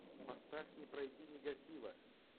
поставь не пройди нигатива